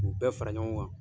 K'u bɛɛ fara ɲɔgɔn kan